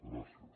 gràcies